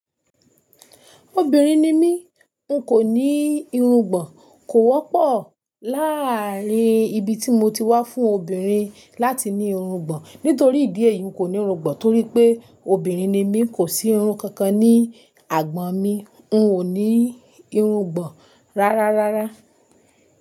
Obìnrin ni mí, n kò ní irungbọ̀n, kò wọ́pọ̀ láàrin ibi tí mo ti wá fún obìnrin láti ní irungbọ̀n. Nítorí ìdí èyí, n kò ní irungbọ̀n torí pé obìnrin ni mí, kò sí irun kankan ní àgbọ̀n mí. N ò ní irungbọ̀n rárá rárá.